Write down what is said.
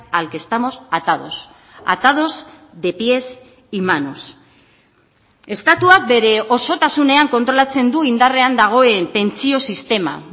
al que estamos atados atados de pies y manos estatuak bere osotasunean kontrolatzen du indarrean dagoen pentsio sistema